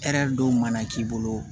Hɛrɛ dɔw mana k'i bolo